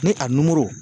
Ni a